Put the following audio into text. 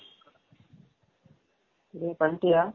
டெய் வன்டியா